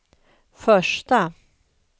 första